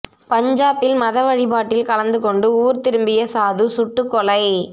பஞ்சாபில் மத வழிபாட்டில் கலந்து கொண்டு ஊர் திரும்பிய சாது சுட்டுக் கொலை